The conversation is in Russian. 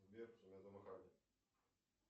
сбер